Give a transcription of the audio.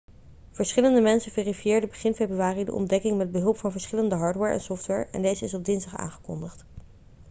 verschillende mensen verifieerden begin februari de ontdekking met behulp van verschillende hardware en software en deze is op dinsdag aangekondigd